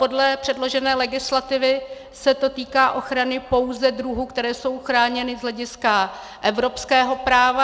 Podle předložené legislativy se to týká ochrany pouze druhů, které jsou chráněny z hlediska evropského práva.